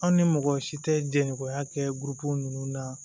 An ni mɔgɔ si tɛ jɛkuya kɛ ninnu na